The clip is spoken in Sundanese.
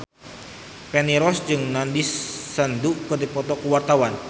Feni Rose jeung Nandish Sandhu keur dipoto ku wartawan